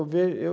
eu